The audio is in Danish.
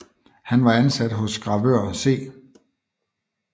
Han var ansat hos gravør C